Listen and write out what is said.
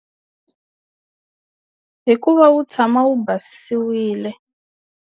Hi ku va wu tshama wu basisiwile.